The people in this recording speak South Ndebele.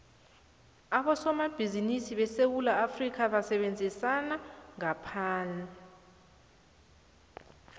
abosomabhizimisi besewula afrikha basebenzisana nebamgaphandle